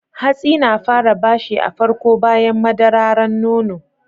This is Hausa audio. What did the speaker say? Hatsi na fara bashi a farko bayan madararan nono.